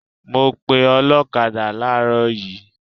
I called a motor cyclist this morning